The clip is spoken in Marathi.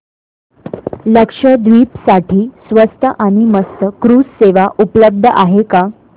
लक्षद्वीप साठी स्वस्त आणि मस्त क्रुझ सेवा उपलब्ध आहे का